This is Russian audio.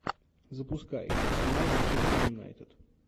запускай арсенал манчестер юнайтед